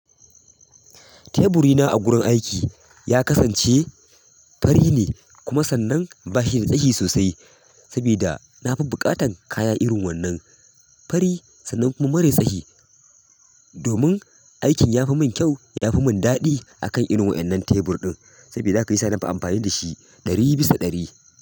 Teburina a wurin aiki ya kasance fari ne kuma sannan ba shi da tsayi sosai. Saboda na fi buƙatan kaya irin wannan fari sannan kuma mara tsayi, domin aikin ya fi mun kyau, ya fi mun daɗi akan irin wainnan tebur ɗin, saboda haka shiyasa na fi amfani da shi ɗari bisa ɗari.